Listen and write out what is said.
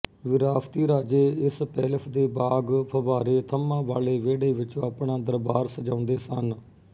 ਵਿਰਾਸ਼ਤੀ ਰਾਜੇ ਇਸ ਪੈਲੇਸ ਦੇ ਬਾਗ ਫਬਾਰੇ ਥੰਮਾਂ ਵਾਲੇ ਵਿਹੜੇ ਵਿੱਚ ਆਪਣਾ ਦਰਬਾਰ ਸਜਾਉਂਦੇ ਸਨ